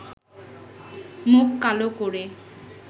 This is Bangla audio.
মুখ কালো করে